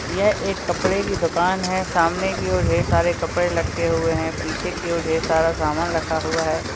यह एक कपड़े की दुकान है। सामने की ओर ढेर सारे कपड़े लटके हुए हैं। पीछे की ओर ढेर सारा सामान रखा हुआ है।